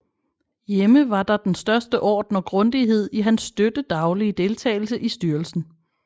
Hjemme var der den største orden og grundighed i hans støtte daglige deltagelse i styrelsen